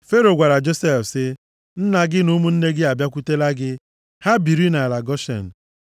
Fero gwara Josef sị, “Nna gị na ụmụnne gị abịakwutela gị. Ha biri nʼala Goshen.